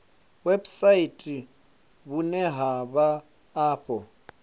website vhune ha vha afho